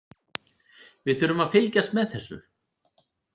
Við þurfum að fylgjast með þessu.